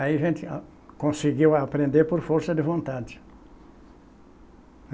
Aí a gente conseguiu aprender por força de vontade.